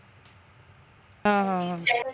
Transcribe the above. हां हां हां